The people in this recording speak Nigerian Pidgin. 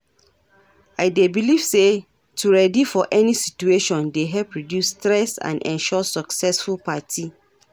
I dey believe say to ready for any situation dey help reduce stress and ensure successful party.